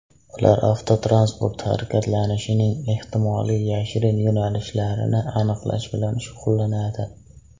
Ular avtotransport harakatlanishining ehtimoliy yashirin yo‘nalishlarini aniqlash bilan shug‘ullanadi.